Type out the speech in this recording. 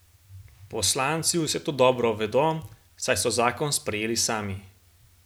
Poslanci vse to dobro vedo, saj so zakon sprejeli sami.